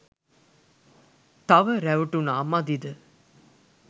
තව රැවටුනා මදිද?